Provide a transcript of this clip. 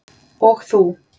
Og þú